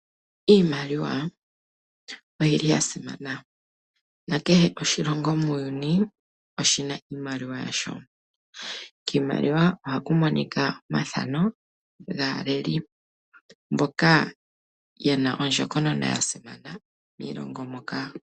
Iimaliwa oyili ya simana nakehe oshilongo muuyuni oshina iimaliwa yasho, kiimaliwa ohaku monika omathano gaaleli mboka yena ondjokonona yasimana miilongo moka.